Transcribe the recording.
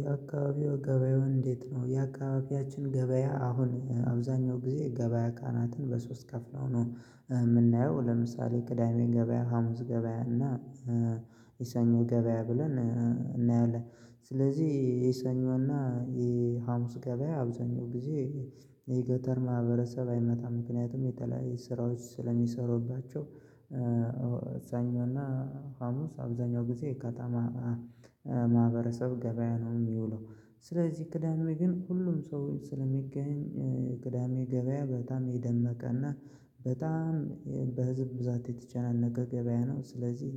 የአካባቢው ገብያ እንዴት ነው? የአካባቢያችን ገብያ አሁን አብዛኛው ጊዜ ገብያ ቀናትን በሶስት ከፍለው ነው። እምናየው ለምሳሌ ቅዳሜ ገብያ ሀሙስ ገብያ እና ሰኞ ገበያ ብለን እናያለን። ስለዚህ የሰኞና የሀሙስ ገበያ አብዛኛው ጊዜ። የገጠር ማህበረሰብ አይመጣም ምክንያቱም የተለያየ ስራዎች ስለሚሰሩባቸው ሰኞ እና ሀሙስ አብዛኛው ጊዜ የከተማ ማህበረሰብ ገብያ ነው የሚውለው። ስለዚህ ቅዳሜ ግን ሁሉም ሰው ስለሚገኝ ቅዳሜ ገብያ በጣም የደመቀና እና በጣም በህዝብ ብዛት የተጨናነቀ ገብያ ነው። ስለዚህ